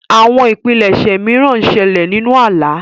Àwọn ìpilẹṣẹ mìràn ńṣele ninù àlà.